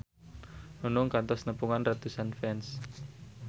Nunung kantos nepungan ratusan fans